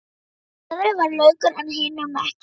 Í öðrum var laukur en hinum ekki.